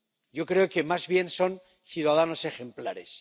yo creo que más bien son ciudadanos ejemplares.